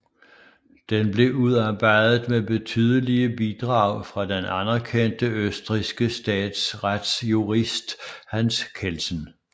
Den blev udarbejdet med betydelige bidrag fra den anerkendte østrigske statsretsjurist Hans Kelsen